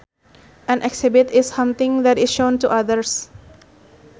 An exhibit is something that is shown to others